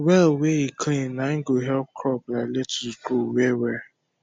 well wey e clean nai go help crop like lettuce grow well well